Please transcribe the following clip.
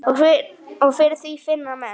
Og fyrir því finna menn.